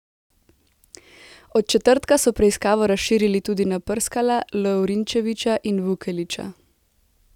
Od četrtka so preiskavo razširili tudi na Prskala, Lovrinčevića in Vukelića.